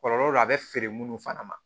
Kɔlɔlɔ do a bɛ feere munnu fana ma